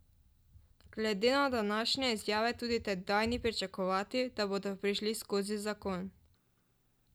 Glede na današnje izjave tudi tedaj ni pričakovati, da bodo prišli skozi zakon.